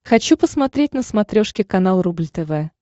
хочу посмотреть на смотрешке канал рубль тв